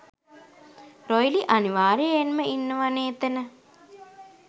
රොයිලි අනිවාර්යෙන්ම ඉන්නවනේ එතන.